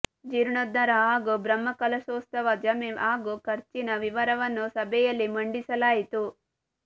ಜೀರ್ಣೋದ್ದಾರ ಹಾಗೂ ಬ್ರಹ್ಮಕಲಶೋತ್ಸವದ ಜಮೆ ಹಾಗೂ ಖರ್ಚಿನ ವಿವರವನ್ನು ಸಭೆಯಲ್ಲಿ ಮಂಡಿಸಲಾಯಿತು